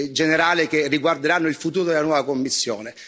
generale che riguarderanno il futuro della nuova Commissione.